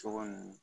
Sogo nunnu